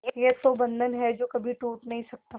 ये वो बंधन है जो कभी टूट नही सकता